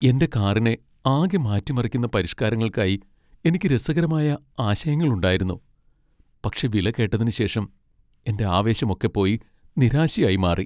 എന്റെ കാറിനെ ആകെ മാറ്റിമറിക്കുന്ന പരിഷ്കാരങ്ങൾക്കായി എനിക്ക് രസകരമായ ആശയങ്ങൾ ഉണ്ടായിരുന്നു, പക്ഷേ വില കേട്ടതിനുശേഷം, എന്റെ ആവേശമൊക്കെ പോയി നിരാശയായി മാറി.